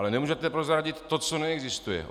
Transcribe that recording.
Ale nemůžete prozradit to, co neexistuje.